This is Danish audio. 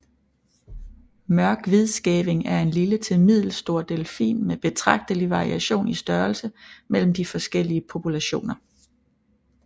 Mørk hvidskæving er en lille til middelstor delfin med betragtelig variation i størrelse mellem de forskellige populationer